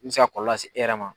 Min bɛ se ka kɔlɔlɔ lase e yɛrɛ ma.